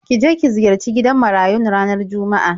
Ki je ki ziyarci gidan marayun ranar Juma'a.